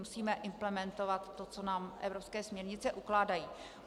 Musíme implementovat to, co nám evropské směrnice ukládají.